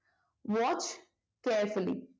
watch carefully